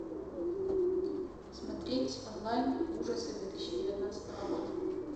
смотреть онлайн ужасы две тысячи девятнадцатого года